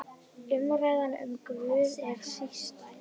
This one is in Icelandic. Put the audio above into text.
Umræðan um Guð er sístæð.